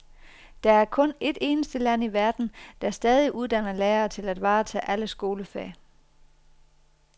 Der er kun et eneste land i verden, der stadig uddanner lærere til at varetage alle skolefag.